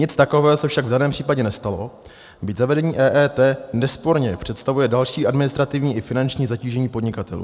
Nic takového se však v žádném případě nestalo, byť zavedení EET nesporně představuje další administrativní i finanční zatížení podnikatelů.